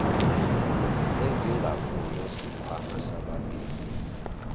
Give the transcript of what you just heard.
ezingafuniwe sikhwama sababheki